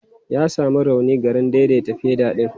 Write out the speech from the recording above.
Ya sami rauni garin daidaita fedal ɗin.